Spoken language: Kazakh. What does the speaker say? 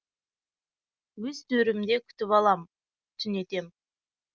өз төрімде күтіп алам түнетем